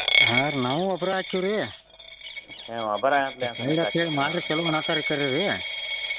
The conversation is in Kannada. ಹಾ ರೀ ನಾವು ಗೊಬ್ರ ಆಕ್ಕೆವ್ರಿ ಕೆಲವ್ ನಾಲ್ಕಾರು ಕರೀರಿ.